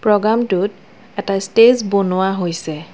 প্ৰ'গামটোত এটা ষ্টেজ বনোৱা হৈছে।